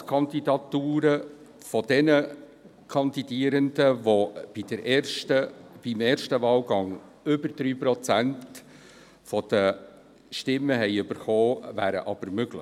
Ersatzkandidaturen für jene Kandidierenden, welche im ersten Wahlgang über 3 Prozent der Stimmen erhalten haben, wären aber möglich.